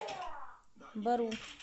бору